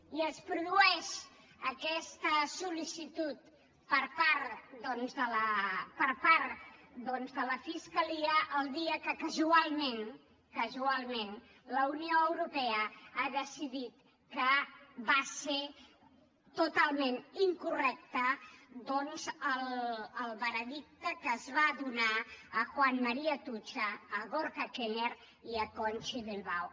i es produeix aquesta sol·licitud per part de la fiscalia el dia que casualment casualment la unió europea ha decidit que va ser totalment incorrecte el veredicte que es va donar a juan maría atutxa a gorka knörr i a conchi bilbao